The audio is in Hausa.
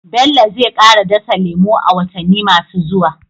Bello zai kara dasa lemu a watanni masu zuwa.